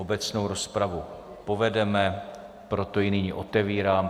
Obecnou rozpravu povedeme, proto ji nyní otevírám.